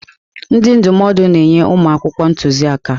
Ndị ndụmọdụ na-enye ụmụ akwụkwọ ntuziaka.